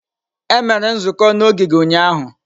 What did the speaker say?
Emere nzukọ n'ogige ụnyahụ.